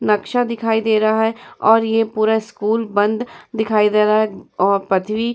नक्शा दिखाई दे रहा है और ये पूरा स्कूल बंद दिखाई दे रहा है। अ पथवी --